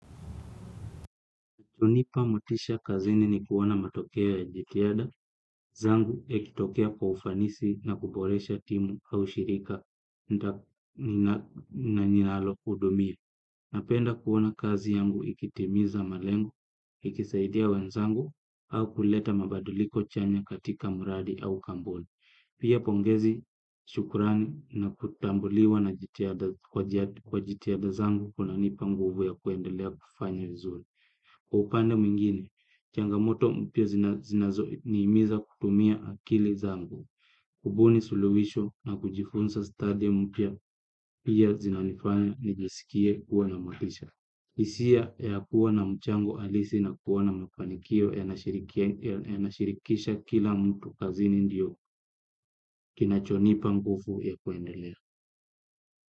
Hunipa motisha kazini ni kuona matokeo ya jitiada zangu yakitokea kwa ufanisi na kuboresha timu au shirika na ninalo hudumia. Napenda kuona kazi yangu ikitimiza malengo, ikisaidia wenzangu au kuleta mabadiliko chanya katika muradi au kumbuni. Pia pongezi shukurani na kutambuliwa kwa jitihada zangu kunanipa nguvu ya kuendelea kufanya zuri. Kwa upande mwingine, changamoto mpya zinazoniimiza kutumia akili zangu, kubuni suluhisho na kujifunza stadi mpya pia zinanifanya nijisikie kuwa na motisha. Isia ya kuwa na mchango alisi na kuona mafanikio yanashirikisha kila mtu kazini ndiyo kinachonipa ngufu ya kuendelea.